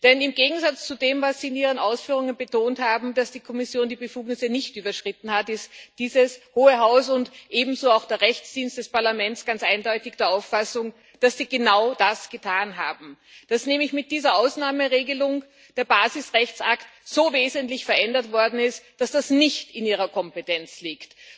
Denn im Gegensatz zu dem, was Sie in Ihren Ausführungen betont haben, dass die Kommission die Befugnisse nicht überschritten hat, ist dieses Hohe Haus und ebenso auch der Juristische Dienst des Parlaments ganz eindeutig der Auffassung, dass Sie genau das getan haben, dass nämlich mit dieser Ausnahmeregelung der Basisrechtsakt so wesentlich verändert worden ist, dass das nicht in Ihrer Kompetenz liegt.